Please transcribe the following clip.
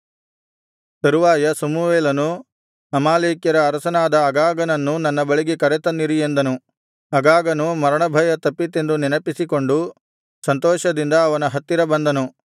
ತರುವಾಯ ಸಮುವೇಲನು ಅಮಾಲೇಕ್ಯರ ಅರಸನಾದ ಅಗಾಗನನ್ನು ನನ್ನ ಬಳಿಗೆ ಕರೆತನ್ನಿರಿ ಎಂದನು ಅಗಾಗನು ಮರಣಭಯ ತಪ್ಪಿತೆಂದು ನೆನಪಿಸಿಕೊಂಡು ಸಂತೋಷದಿಂದ ಅವನ ಹತ್ತಿರ ಬಂದನು